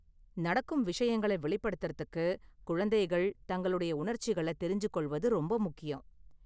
நடக்கும் விஷயங்களை வெளிப்படுத்தறத்துக்கு குழந்தைகள் தங்களுடைய உணர்ச்சிகள தெரிஞ்சு கொள்வது ரொம்ப முக்கியம்.